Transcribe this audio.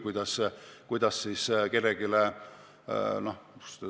Ikka saab – no kuidas öelda?